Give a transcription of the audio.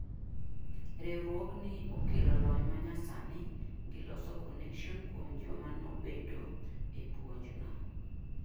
riwruok ni , okelo lony manyasani, gi loso connection kuom joma no bedo e puonj no